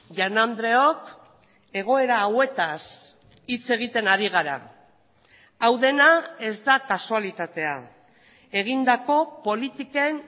jaun andreok egoera hauetaz hitz egiten ari gara hau dena ez da kasualitatea egindako politiken